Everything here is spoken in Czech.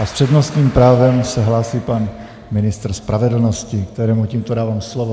A s přednostním právem se hlásí pan ministr spravedlnosti, kterému tímto dávám slovo.